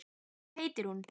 Hvað heitir hún?